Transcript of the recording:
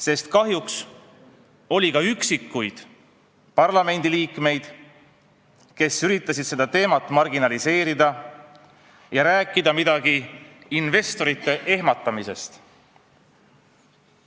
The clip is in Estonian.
Sest kahjuks oli ka üksikuid parlamendiliikmeid, kes üritasid seda teemat marginaliseerida ja rääkida midagi investorite ehmatamisest.